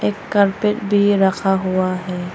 एक कारपेट भी रखा हुआ है।